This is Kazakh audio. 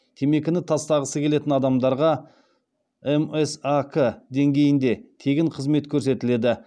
темекіні тастағысы келетін адамдарға мсак деңгейінде тегін қызмет көрсетіледі